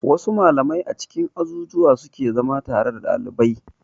Wa su malamai a cikin azuzzuwa suke zama tare da dalibai